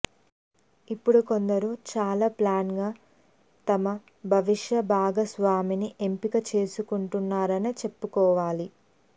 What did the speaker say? ఇప్పుడు కొందరు చాలా ప్లాన్డ్గా తమ భవిష్య భాగస్వామిని ఎంపిక చేసుకుంటున్నారనే చెప్పుకోవాలి